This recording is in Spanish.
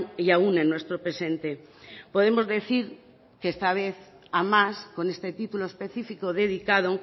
y aun en nuestro presente podemos decir que esta vez a más con este título específico dedicado